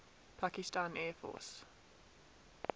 pakistan air force